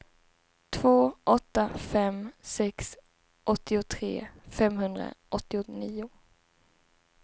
två åtta fem sex åttiotre femhundraåttionio